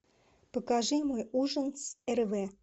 покажи мне ужин с эрве